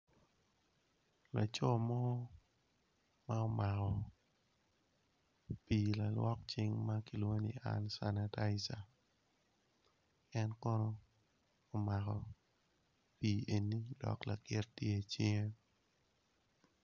Laco mo ma omako pi lalwok cing makilwongo ni hand sanitizer en kono omako pi eni do lakit tye icinge.